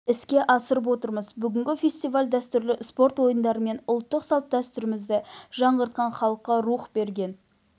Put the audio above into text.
іске асырып отырмыз бүгінгі фестиваль дәстүрлі спорт ойындары мен ұлттық салт-дәстүрімізді жаңғыртқан халыққа рух берген